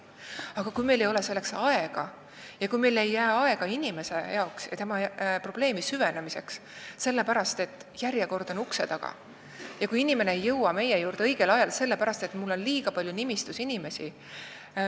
Aga me ei suuda seda teha, kui meil ei jää inimese probleemi süvenemiseks aega sellepärast, et järjekord on ukse taga ja patsient ei jõua meie juurde õigel ajal, sest arstil on nimistus liiga palju inimesi.